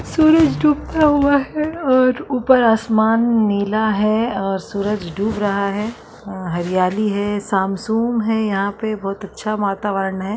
सूरज डूबता हुवे है और उपर आसमान नीला है और सूरज डूब रहा है और हरियाली है शाम-सुम है यहां पे बोहोत अच्छा वातावरण है।